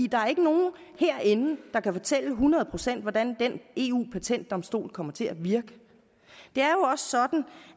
der er ikke nogen herinde der kan fortælle hundrede procent hvordan den eu patentdomstol kommer til at virke det er jo også sådan